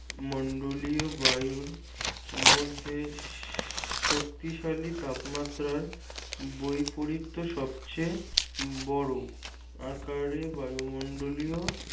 মন্ডলীয় বায়ুর মধ্যে শক্তিশালী তাপমাত্রার বৈপরীত্য সবচেয়ে বড় আকারে বায়ুমন্ডলীয়